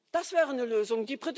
Das wäre eine Lösung.